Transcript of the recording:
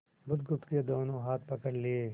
बुधगुप्त के दोनों हाथ पकड़ लिए